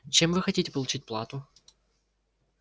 чем вы хотите получать плату